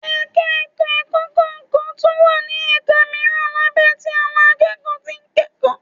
Ẹ̀ka ètò ẹ̀kọ́ kọọ́ tún wá ní ẹ̀ka mìíràn lábẹ́ tí àwọn akẹ́kọ̀ọ́ tí ń kẹ́kọ̀ọ́